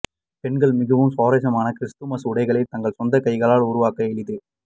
பெண்கள் மிகவும் சுவாரஸ்யமான கிறிஸ்துமஸ் உடைகளில் தங்கள் சொந்த கைகளால் உருவாக்க எளிது